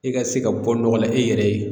I ka se ka bɔ nɔgɔ la e yɛrɛ ye